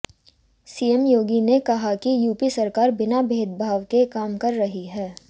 CM Yogi ने कहा कि यूपी सरकार बिना भेदभाव के काम कर रही है